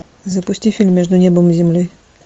запусти фильм между небом и землей